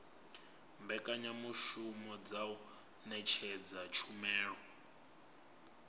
mbekanyamushumo dza u ṅetshedza tshumelo